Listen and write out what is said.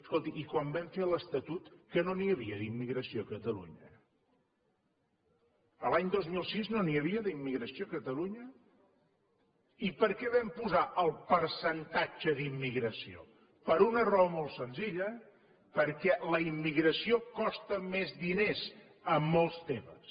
escolti i quan vam fer l’estatut que no n’hi havia d’immigració a catalunya l’any dos mil sis no n’hi havia d’immigració a catalunya i per què vam posar el percentatge d’immigració per una raó molt senzilla perquè la immigració costa més diners en molts temes